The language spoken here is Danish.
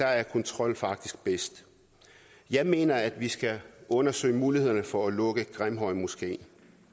er kontrol faktisk bedst jeg mener at vi skal undersøge mulighederne for at lukke grimhøjmoskeen